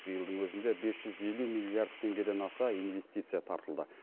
биылдың өзінде бес жүз елу миллиард теңгеден аса инвестиция тартылды